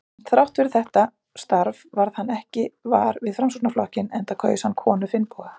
Þrátt fyrir þetta starf varð hann ekki var við Framsóknarflokkinn, enda kaus hann konu Finnboga